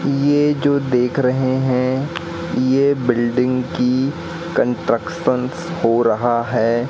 ये जो देख रहे हैं ये बिल्डिंग की कॉन्ट्रैक्शन्स हो रहा है।